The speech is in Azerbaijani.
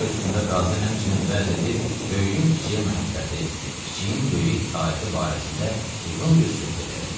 Çay üstündə qazı həmçinin vəz edib böyüyün kiçiyə məhəbbəti, kiçiyin böyüyə itaəti barəsində uzun bir söhbət elədi.